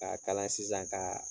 K'a kala sisan k'aa